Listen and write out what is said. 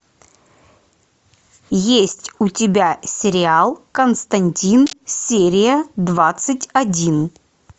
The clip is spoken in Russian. есть у тебя сериал константин серия двадцать один